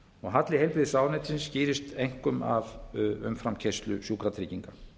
halli heilbrigðisráðuneytisins skýrist einkum af umframkeyrslu s sjúkratrygginga